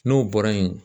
N'o bɔra yen